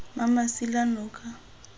mmamasilanoka